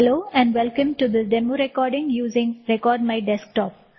hello and welcome to the demo recording using record my desktop